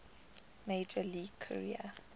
major league career